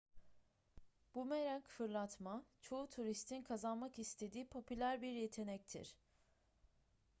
bumerang fırlatma çoğu turistin kazanmak istediği popüler bir yetenektir